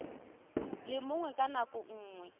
le mongwe ka nako nngwe